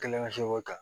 Kelen ka se k'o ta